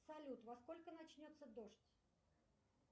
салют во сколько начнется дождь